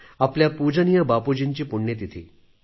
आपल्या पूजनीय बापूजींची पुण्यतिथी